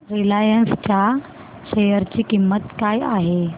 Reliance च्या share ची किंमत काय आहे